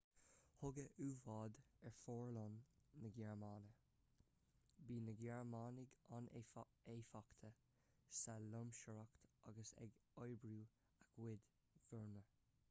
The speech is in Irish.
tugadh u-bháid ar fhomhuireáin na gearmáine bhíodh na gearmánaigh an-éifeachtach sa loingseoireacht agus ag oibriú a gcuid fomhuireán